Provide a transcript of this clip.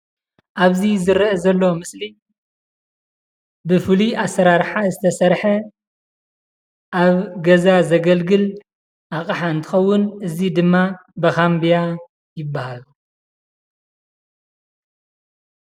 ኣብዚ ዝረአ ዘሎ ምስሊ ብፍሉይ ኣሰራርሓ ዝተሰርሐ ኣብ ገዛ ዘገልግል ኣቕሓ እንትኸውን እዚ ድማ መኸምብያ ይባሃል፡፡